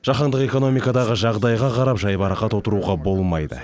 жаһандық экономикадағы жағдайға қарап жайбарақат отыруға болмайды